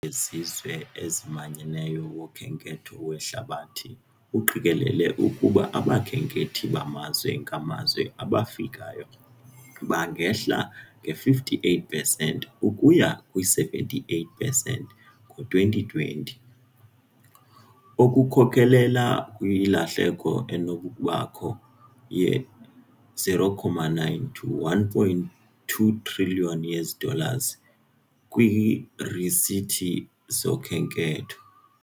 WeZizwe eziManyeneyo woKhenketho weHlabathi uqikelele ukuba abakhenkethi bamazwe ngamazwe abafikayo bangehla nge-58 percent ukuya kwi-78 percent ngo-2020, okukhokelela kwilahleko enokubakho ye-0.9-1.2 triliyoni yee-dollars kwiirisithi zokhenketho.